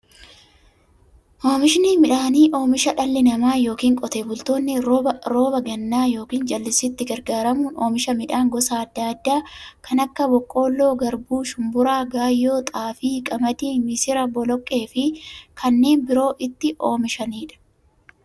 Oomishni midhaanii, oomisha dhalli namaa yookiin Qotee bultoonni roba gannaa yookiin jallisiitti gargaaramuun oomisha midhaan gosa adda addaa kanneen akka; boqqoolloo, garbuu, shumburaa, gaayyoo, xaafii, qamadii, misira, boloqqeefi kanneen biroo itti oomishamiidha.